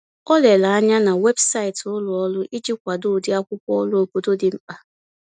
O lere anya na webụsaịtị ulọọrụ iji kwado ụdịakwụkwọ ọrụ obodo dị mkpa.